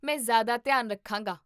ਮੈਂ ਜ਼ਿਆਦਾ ਧਿਆਨ ਰੱਖਾਂਗਾ